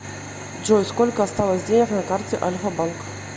джой сколько осталось денег на карте альфа банк